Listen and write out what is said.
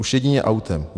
Už jedině autem.